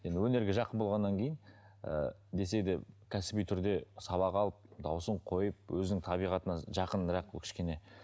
енді өнерге жақын болғаннан кейін ыыы десе де кәсіби түрде сабақ алып дауысын қойып өзінің табиғатына жақынырақ бұл кішкене